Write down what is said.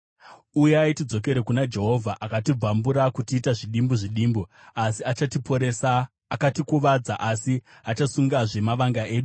“Uyai tidzokere kuna Jehovha. Akatibvambura kutiita zvidimbu zvidimbu, asi achatiporesa; akatikuvadza, asi achasungazve mavanga edu.